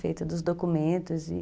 Feita dos documentos.